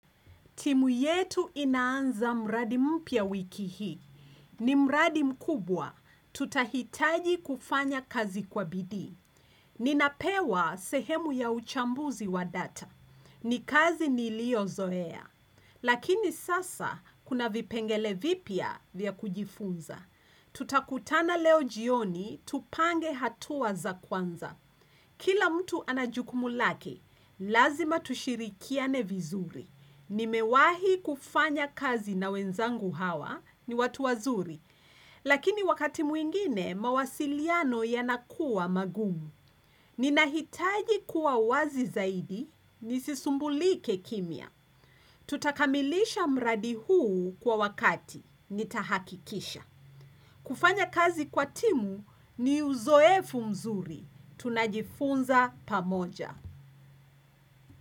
Timu yetu inaanza mradi mpya wiki hii. Ni mradi mkubwa. Tutahitaji kufanya kazi kwa bidii Ninapewa sehemu ya uchambuzi wa data. Ni kazi niliyo zoea. Lakini sasa kuna vipengele vipya vya kujifunza. Tutakutana leo jioni, tupange hatua za kwanza. Kila mtu ana jukumu lake, lazima tushirikiane vizuri. Nimewahi kufanya kazi na wenzangu hawa ni watu wazuri. Lakini wakati mwingine, mawasiliano yanakuwa magumu. Ninahitaji kuwa wazi zaidi, nisisumbulike kimia. Tutakamilisha mradi huu kwa wakati, nitahakikisha. Kufanya kazi kwa timu ni uzoefu mzuri. Tunajifunza pamoja.